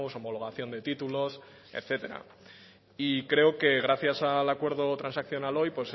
homologación de títulos etcétera y creo que gracias al acuerdo transaccional hoy